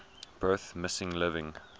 birth missing living